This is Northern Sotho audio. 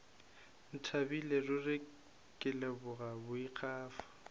ntlabile ruri ke leboga boikgafo